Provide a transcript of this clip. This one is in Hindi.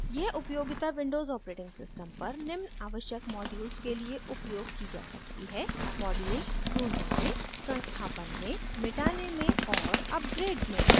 यह उपयोगिता विंडोज़ ऑपरेटिंग सिस्टम पर निम्न आवश्यक मॉड्यूल्स के लिए उपयोग की जा सकती है: